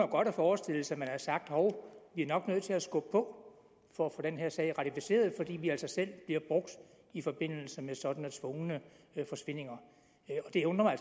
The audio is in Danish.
godt forestille sig at sagt hov vi er nok nødt til at skubbe på for at få den her sag ratificeret fordi vi altså selv bliver brugt i forbindelse med sådanne tvungne forsvindinger og det undrer mig